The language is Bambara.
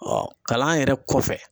Ɔ kalan yɛrɛ kɔfɛ